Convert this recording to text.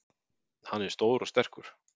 Hann er stór og sterkur.